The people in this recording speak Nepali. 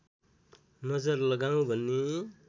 नजर लगाऔं भन्ने